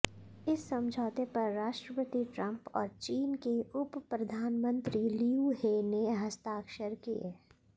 इस समझौते पर राष्ट्रपति ट्रंप और चीन के उपप्रधानमंत्री लियू हे ने हस्ताक्षर किए